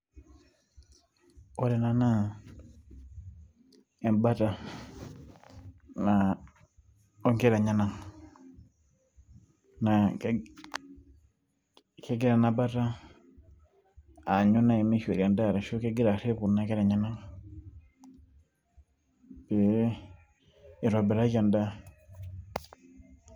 Ore ena naa, ebata naa onkera enyanak. Na kegira enabata aanyu nai mishori endaa ashu kegira arrip kuna kera enyanak pee itobiraki endaa.